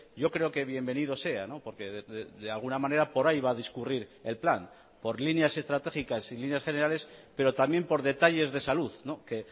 yo creo que bienvenido sea porque de alguna manera por ahí va a discurrir el plan por líneas estratégicas y líneas generales pero también por detalles de salud que